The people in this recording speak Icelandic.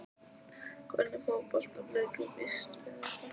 Hvernig fótboltaleikur býstu við að þetta verði?